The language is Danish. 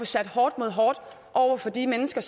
sætte hårdt mod hårdt over for de mennesker